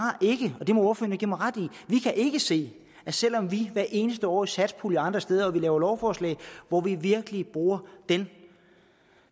ikke og det må fru maja give mig ret i vi kan ikke se det selv om vi hvert eneste år i satspuljen og andre steder hvor vi laver lovforslag virkelig bruger den